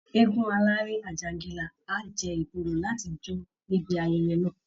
Eégún aláré Àjàǹgìlá á jẹ́ ìbuwọ́lù láti jó níbi ayẹyẹ náà